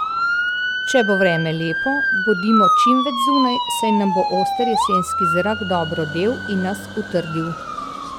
Če bo vreme lepo, bodimo čim več zunaj, saj nam bo oster jesenski zrak dobro del in nas utrdil.